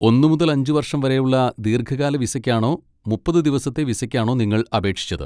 ഒന്ന് മുതൽ അഞ്ച് വർഷം വരെയുള്ള ദീർഘകാല വിസയ്ക്കാണോ മുപ്പത് ദിവസത്തെ വിസയ്ക്കാണോ നിങ്ങൾ അപേക്ഷിച്ചത്?